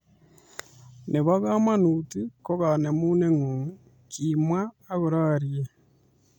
Nebo komonut kokonemunengung, kimwa akororie